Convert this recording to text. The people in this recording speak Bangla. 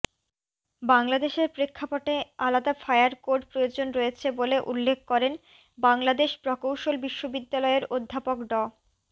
বাংলাদেশের প্রেক্ষাপটে আলাদা ফায়ার কোড প্রয়োজন রয়েছে বলে উল্লেখ করেন বাংলাদেশ প্রকৌশল বিশ্ববিদ্যালয়ের অধ্যাপক ড